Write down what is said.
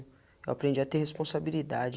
Eu aprendi a ter responsabilidade.